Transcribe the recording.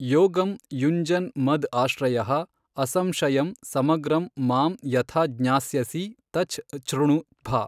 ಯೋಗಂ ಯುಂಜನ್ ಮದ್ ಆಶ್ರಯಃ ಅಸಂಶಯಂ ಸಮಗ್ರಂ ಮಾಮ್ ಯಥಾ ಜ್ಞಾಸ್ಯಸಿ ತಚ್ ಛೃಣು ಭ.